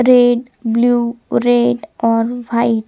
red blue red on white --